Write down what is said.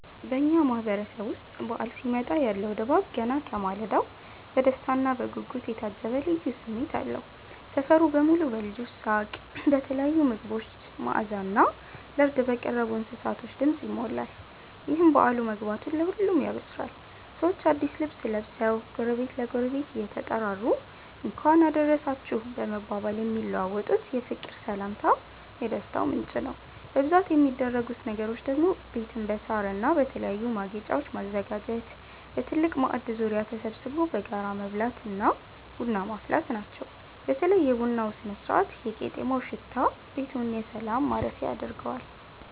በኛ ማህበረሰብ ዉስጥ በዓል ሲመጣ ያለው ድባብ ገና ከማለዳው በደስታና በጉጉት የታጀበ ልዩ ስሜት አለው። ሰፈሩ በሙሉ በልጆች ሳቅ፤ በተለያዩ ምግቦች መዓዛና ለርድ በቀረቡ እንስሳቶች ድምፅ ይሞላል። ይህም በዓሉ መግባቱን ለሁሉም ያበስራል። ሰዎች አዲስ ልብስ ለብሰው፣ ጎረቤት ለጎረቤት እየተጠራሩ "እንኳን አደረሳችሁ" በመባባል የሚለዋወጡት የፍቅር ሰላምታ የደስታው ምንጭ ነው። በብዛት የሚደረጉት ነገሮች ደግሞ ቤትን በሳርና በተለያዩ ማጌጫወች ማዘጋጀት፣ በትልቅ ማዕድ ዙሪያ ተሰብስቦ በጋራ መብላትና ቡና ማፍላት ናቸው። በተለይ የቡናው ስነ-ስርዓትና የቄጤማው ሽታ ቤቱን የሰላም ማረፊያ ያደርገዋል።